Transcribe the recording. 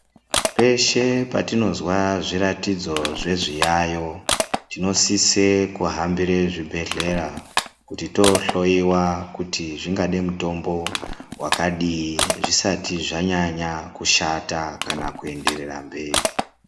Peshe patinozwa zviratidzo zvezviyayo tinosise kuhambire zvibhehlera kuti tohloyiwa kuti zvingade mutombo wakadini zvisati zvanyanya kushata kana kuenderera mberi.